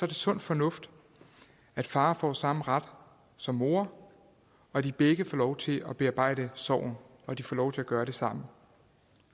det sund fornuft at far får samme ret som mor at de begge får lov til at bearbejde sorgen at de får lov til at gøre det sammen og